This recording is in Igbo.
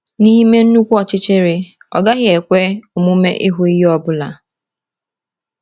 N’ime nnukwu ọchịchịrị, ọ gaghị ekwe omume ịhụ ihe ọ bụla.